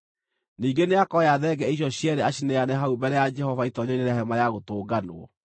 Ningĩ nĩakoya thenge icio cierĩ acineane hau mbere ya Jehova itoonyero-inĩ rĩa Hema-ya-Gũtũnganwo.